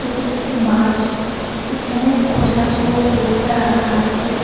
এটি একটি মাঠ এখানে খোসাছহ ভুট্টা রাখা আছে।